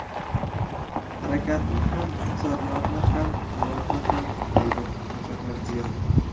Harakatni ham, iqtisodiyotni ham, hayotni ham”, dedi Shavkat Mirziyoyev.